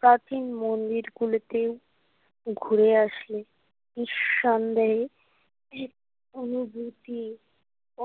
প্রাচীন মন্দির গুলিতে ঘুরে আসি নিঃসন্দেহে অনুভূতি